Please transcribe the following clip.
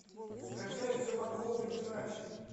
скачай все могло быть иначе